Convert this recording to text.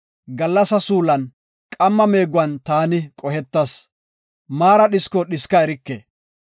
Gallasa suulan, qamma meegon taani qohetas. Maara dhisko dhiska erike.